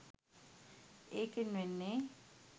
ඒකෙන් වෙන්නෙ